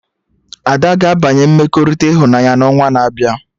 Ada ga-abanye mmekọrịta ịhụnanya na onwa na-abịa